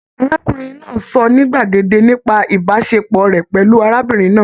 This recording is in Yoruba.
Arákùnrin náà sọ ní gbàgede nípa ìbáṣepọ̀ rẹ pẹlú arábìnrin náà.